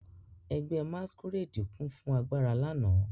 Ẹgbẹ́ masquerade kún fún agbára lánàá.